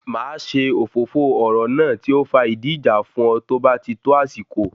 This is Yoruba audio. Máa ṣe òfófó ọ̀rọ̀ náà tí ó fa ìdí ìjà fún ọ tó bá tí tó àsìkò